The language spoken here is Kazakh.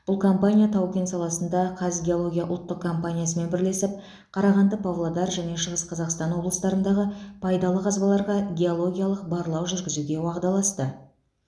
бұл компания тау кен саласында қазгеология ұлттық компаниясымен бірлесіп қарағанды павлодар және шығыс қазақстан облыстарындағы пайдалы қазбаларға геологиялық барлау жүргізуге уағдаласты